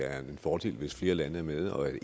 det er en fordel hvis flere lande er med og